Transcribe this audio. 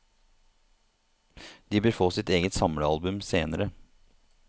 De bør få sitt eget samlealbum senere.